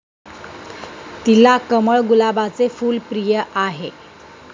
तिला कमळ, गुलाबाचे फुल प्रिय आहे.